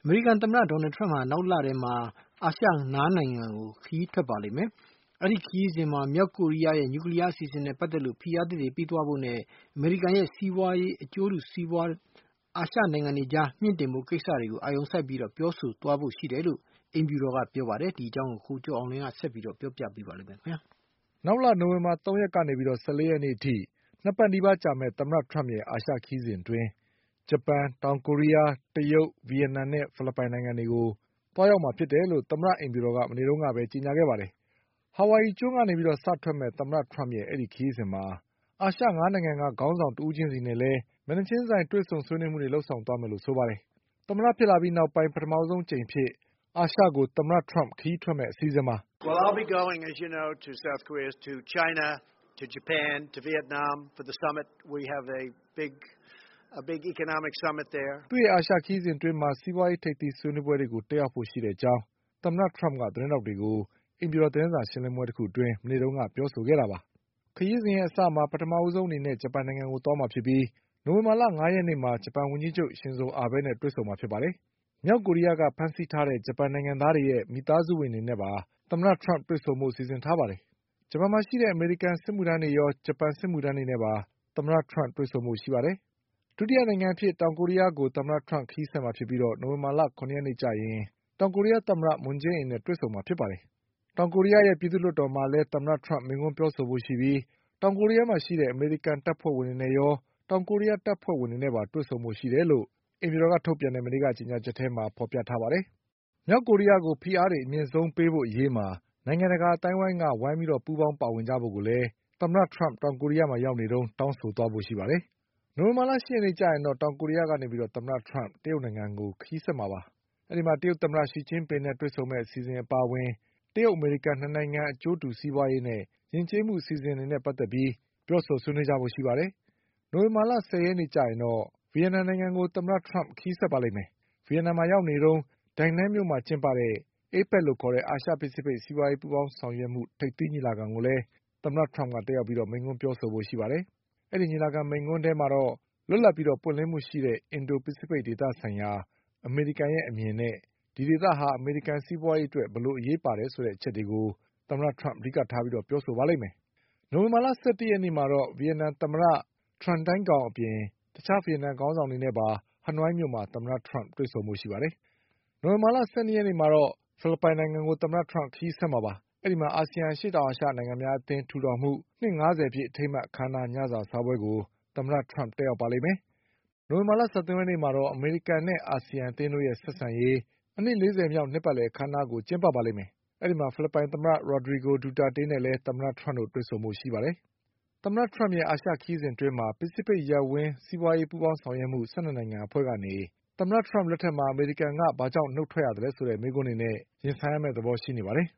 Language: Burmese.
မေရိကန်သမ္မတ Donald Trump ဟာ နောက်လထဲမှာ အာရှ ၅နိုင်ငံကို ခရီးထွက်ပါလိမ့်မယ်။ အဲဒီခရီးစဉ်မှာ မြောက်ကို ရီးယားရဲ့ နျူကလီးယားအစီအစဉ်နဲ့ပတ်သက်ပြီး ဖိအားသစ်တွေထပ်ပေးဖို့နဲ့ အမေရိကန်ရဲ့ စီးပွါးရေးအကျိုးစီးပွါး အာရှ နိုင်ငံအတွေအကြား မြှင့်တင်ဖို့ကိစ္စတွေကို အာရုံစိုက်ပြီး ပြောဆိုဆွေးနွေးသွားဖို့ရှိတယ်လို့ အိမ်ဖြူတော်ကကြေညာပါ တယ်။ ဒီအကြောင်း ကိုကျော်အောင်လွင်က ဆက်ပြီးပြောပါလိမ့်မယ်။ နောက်လ နိုဝင်ဘာ၃ရက်ကနေ ၁၄ရက်နေ့အထိ ၂ပတ်နီးပါးကြာမယ့် သမ္မတထရမ့်ရဲ့အာရှခရီးစဉ်အတွင်း ဂျပန်၊ တောင်ကိုရီးယား၊ တရုတ်၊ ဗီယက်နမ်နဲ့ ဖိလစ်ပိုင်တွေကိုသွားရောက်မှာဖြစ်တယ်လို့ သမ္မတအိမ်ဖြူတော်က မနေ့ကပဲ ကြေညာခဲ့ပါတယ်။ ဟာဝိုင်အီကျွန်း ကနေစထွက်မယ့် သမ္မတထရမ့်ရဲ့အဲဒီခရီးစဉ်မှာ အာရှ၅နိုင်ငံကခေါင်းဆောင်တဦး ချင်းစီနဲ့ မျက်နှာချင်းဆိုင်တွေ့ဆုံ ဆွေးနွေးမှုတွေလည်း လုပ်ဆောင်သွားမယ်လို့ဆိုပါတယ်။ သမ္မတဖြစ်ပြီးနောက်ပိုင်း ပထမဆုံးအကြိမ်အဖြစ် အာရှကို သမ္မတထရမ့်ခရီးထွက်မယ့်အစီအစဉ်ပါ။ သူ့ရဲ့အာရှခရီးစဉ်အတွင်း စီးပွါးရေးထိပ်သီးဆွေးနွေးပွဲတွေကို တက်ရောက်ဖို့ရှိတဲ့အကြောင်း သမ္မတထရမ့်က သတင်းထောက်တွေကို အိမ်ဖြူတော်သတင်းစာရှင်းလင်းပွဲတခုအတွင်း မနေ့ကပြောဆိုခဲ့တာပါ။ ခရီးစဉ်အစမှာ ပထမဆုံး ဂျပန်နိုင်ငံကိုသွားမှာဖြစ်ပြီး နိုဝင်ဘာလ ၅ရက်နေ့မှာ ဂျပန်ဝန်ကြီးချုပ် ရှင်ဇိုအာဘဲနဲ့တွေ့ဆုံမှာဖြစ်ပြီး မြောက် ကိုရီးယားကဖမ်းဆီးခဲ့တဲ့ ဂျပန်နိုင်ငံသားတွေရဲ့မိသားစုဝင်တွေနဲ့ပါ သမ္မတထရမ့်က တွေ့ဆုံဖို့ စီစဉ်ထားပါတယ်။ ဂျပန် မှာရှိတဲ့ အမေရိကန်စစ်မှုထမ်းတွေရော ဂျပန်စစ်မှုထမ်းတွေနဲ့ပါ သမ္မတထရမ့်တွေ့ဆုံဖို့ရှိပါတယ်။ ဒုတိယနိုင်ငံအဖြစ် တောင်ကိုရီးယားကို ခရီးဆက်မှာဖြစ်ပြီး နိုဝင်ဘာ ၇ရက်နေ့ကျရင် တောင်ကိုရီးယားသမ္မတ မွန်းဂျေးအင်နဲ့တွေ့ဆုံမှာ ပါ။ တောင်ကိုရီးယား ပြည်သူ့လွှတ်တော်မှာလည်း သမ္မတထရမ့်မိန့်ခွန်းပြောဖို့ရှိပြီး တောင်ကိုရီးယားမှာရှိတဲ့ အမေရိ ကန်တပ်ဖွဲ့ဝင်တွေနဲ့ရော တောင်ကိုရီးယားတပ်ဖွဲ့ဝင်တွေနဲ့ပါတွေ့ဆုံဖို့ရှိတယ်လို့ အိမ်ဖြူတော် ကြေညာချက်မှာ ဖေါ်ပြထားပါတယ်။ မြောက်ကိုရီးယားကို ဖိအားတွေအမြင့်ဆုံး ပေးဖို့အရေးမှာ နိုင်ငံတကာအသိုင်းအဝိုင်းက ပူးပေါင်းပါ ဝင်ကြဖို့ကိုလည်း သမ္မတထရမ့်တောင်ကိုရီးယားမှာရောက်နေတုန်း တောင်းဆိုသွားကြဖို့ရှိပါတယ်။ နိုဝင်ဘာလ ၈ရက်နေ့မှာ တောင်ကိုရီးယားကနေ တရုတ်နိုင်ငံကို သမ္မတထရမ့်ခရီးဆက်မှာဖြစ်ပြီး တရုတ်သမ္မတ ရှီကျင်း ပင်နဲ့တွေ့ဆုံမယ့် အစီအစဉ်အပါအဝင် တရုတ်အမေရိကန်၂နိုင်ငံအကျိုးတူစီးပွါးရေးနဲ့ယဉ်ကျေးမှုအစီအစဉ်တွေနဲ့ပတ် သက်ပြီးပြောဆိုဆွေးနွေးကြဖို့ရှိပါတယ်။ နိုဝင်ဘာ ၁၀ရက်နေ့ကျရင်တော့ ဗီယက်နမ်နိုင်ငံကို သမ္မတထရမ့်ခရီးဆက်ပါ လိမ့်မယ်။ ဗီယက်နမ်မှာရောက်နေတုန်း Danang မြို့မှာကျင်းပတဲ့ APEC အာရှဖိစိဖိတ်စီးပွါးရေးပူးပေါင်းဆောင်ရွက်မှု ထိပ်သီးညီလာခံကိုလည်း သမ္မတထရမ့်ကတက်ရောက်ပြီးမိန့်ခွန်းပြောဆိုဖို့ရှိပါတယ်။ အဲဒီညီလာခံမိန့်ခွန်းထဲမှာတော့ လွတ်လပ်ပြီးပွင့်လင်းမှုရှိတဲ့ အင်ဒိုဖိစိဖိတ်ဒေသဆိုင်ရာ အမေရိကန်ရဲ့အမြင်နဲ့ ဒီဒေသဟာ အမေရိကန်စီးပွါးရေး အတွက် ဘယ်လိုအရေးပါတယ်ဆို တဲ့အချက်တွေကို အဓိကထားပြောဆိုပါလိမ့်မယ်။ နိုဝင်ဘာ၁၁ရက်နေ့မှာတော့ ဗီယက်နမ်သမ္မတ Tran Dai Quangအပြင် တခြားဗီယက်နမ်ခေါင်းဆောင်တွေနဲ့ပါ ဟနွိုင်းမြို့မှာ သမ္မတထရမ့် တွေ့ ဆုံဖို့ရှိပါတယ်။ နိုဝင်ဘာလ ၁၂ရက်နေ့ကျရင်တော့ ဖိလစ်ပိုင်နိုင်ငံကို ခရီးဆက်မှာဖြစ်ပြီး အဲဒီမှာ အာဆီယံအရှေ့တောင်အာရှနိုင်ငံများ အသင်းထူထောင်မှုနှစ်၅ဆယ်ပြည့်အထိမ်းအမှတ်အခမ်းအနားညစာစားပွဲကို သမ္မတထရမ့်တက်ရောက်ပါလိမ့်မယ်။ နိုဝင် ဘာ၁၃ရက်နေ့မှာတော့ အမေရိကန်နဲ့အာဆီယံအသင်းတို့ရဲ့ဆက်ဆံရေး အနှစ်၄၀မြောက်အခမ်းအနားကိုကျင်းပပါ လိမ့်မယ်။ အဲဒီမှာ ဖိလစ်ပိုင်သမ္မတ Rodrigo Duterte နဲ့သမ္မတထရမ့်တို့တွေ့ဆုံကြပါလိမ့်မယ်။ သမ္မတထရမ့်ရဲ့အာရှခရီးစဉ်အတွင်း ပစိဖိတ်ရပ်ဝန်း စီးပွါးရေး ပူးပေါင်းဆောင်ရွက်မှု ၁၂နိုင်ငံအဖွဲ့ကနေ အမေရိကန်က ဘာကြောင့် ထွက်သွားရသလဲဆိုတဲ့မေးခွန်းတွေနဲ့ သမ္မတထရမ့် ရင်ဆိုင်ရမယ့်သဘောရှိနေပါတယ်။